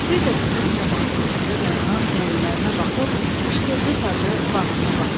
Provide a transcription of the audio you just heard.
bir də dönüb camaatın içində dayanan dəlilərinə baxıb üçtelli sazı bağrına basdı.